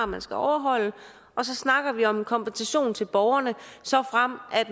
man skal overholde og så snakker vi om en kompensation til borgerne såfremt